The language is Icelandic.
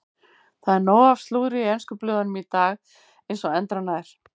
Það er nóg af slúðri í ensku blöðunum í dag eins og endranær.